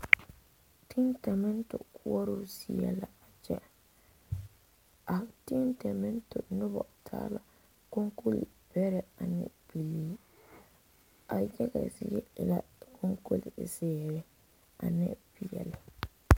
Tintomato koɔrɔɔ zie la a tintomato nobɔ taa la kolbɛrɛ ane bilii a yaga zie e la kɔbilizeere ane peɛle.